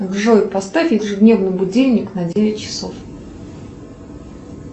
джой поставь ежедневный будильник на девять часов